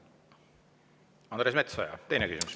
Andres Metsoja, teine küsimus.